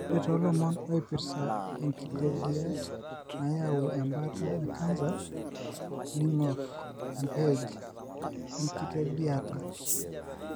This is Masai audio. ore to lomon opirta enkitediat nayau embaata e cnse, ningor epage e enkitediata.